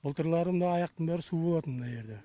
былтырлары мына аяқтың бәрі су болатын мына ерде